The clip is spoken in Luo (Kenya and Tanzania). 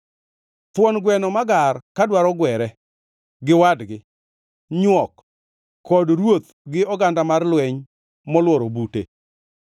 thuon gweno magar ka dwaro gwere gi wadgi, nywok, kod ruoth gi oganda mar lweny moluoro bute.